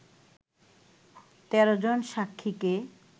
১৩ জন সাক্ষীকে